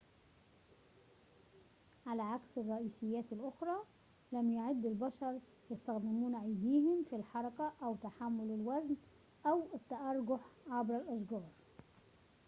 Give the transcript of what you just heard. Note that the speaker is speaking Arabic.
على عكس الرئيسيات الأخرى لم يَعد البشرُ يستخدمون أيديهم في الحركة أو تحمل الوزن أو التأرجح عبر الأشجار